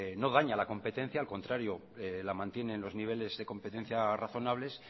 no daña la competencia al contrario la mantiene en los niveles de competencia razonables